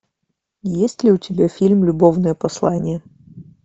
есть ли у тебя фильм любовное послание